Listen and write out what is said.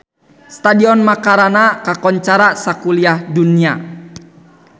Stadion Macarana kakoncara sakuliah dunya